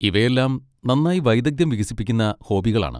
ഇവയെല്ലാം നന്നായി വൈദഗ്ധ്യം വികസിപ്പിക്കുന്ന ഹോബികളാണ്.